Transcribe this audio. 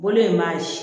Bolo in maa ye